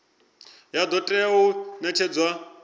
ya do tea u netshedzwa